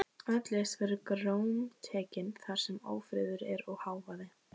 Öll list verður grómtekin þar sem ófriður er og hávaði.